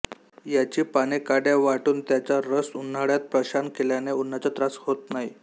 याची पानेकाड्या वाटूनत्याचा रस उन्हाळात प्रशान केल्याने उन्हाचा त्रास होत नाही